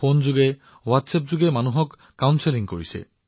ফোনত হোৱাটছএপৰ জৰিয়তেও পৰামৰ্শ দি আছে